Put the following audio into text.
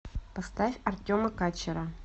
поставь артема качера